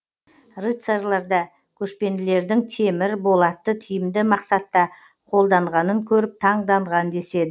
рыцарьлар да көшпенділердің темір болатты тиімді мақсатта қолданғанын көріп таңданған деседі